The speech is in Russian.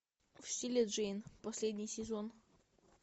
в стиле джейн последний сезон